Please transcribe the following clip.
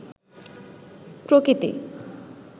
প্রকৃতি